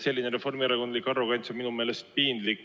Selline reformierakondlik arrogants on minu meelest piinlik.